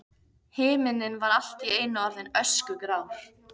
Himinninn var allt í einu orðinn öskugrár.